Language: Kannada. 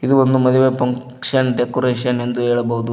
ಒಂದು ಮದುವೆ ಫಂಕ್ಷನ್ ಡೆಕೋರೇಷನ್ ಎಂದು ಹೇಳಬಹುದು.